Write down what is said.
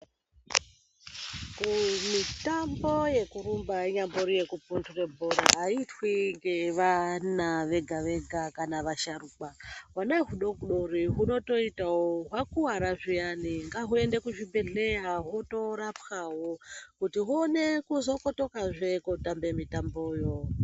Kumitambo yekurumba inyambori yekupundure bhora, ayiitwi ngevana vega vega kana vasharukwa., Hwana hwudodori hunotoitawo. Hwakuwara zviyani, ngahwuende kuzvibhedhleya hwotorapwawo kuti huone kuzokotokazve kotambe mitamboyo.